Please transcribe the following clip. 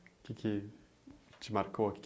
O que que te marcou?